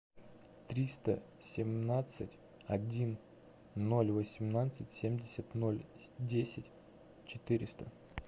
триста семнадцать один ноль восемнадцать семьдесят ноль десять четыреста